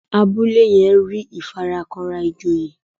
Abúlé yén rí ìfarakanra ìjòyè.